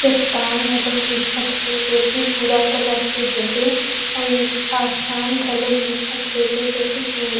चट्ठान घलोक दिखत हे जो कि भूरा कलर के हेबे अउ ए आसमान घलोक दिखत हेबे जो कि सुन--